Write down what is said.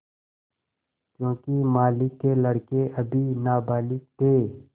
योंकि मालिक के लड़के अभी नाबालिग थे